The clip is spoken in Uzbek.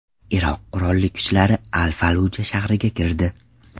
Iroq qurolli kuchlari Al-Falluja shahriga kirdi.